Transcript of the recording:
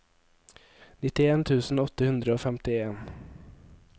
nittien tusen åtte hundre og femtien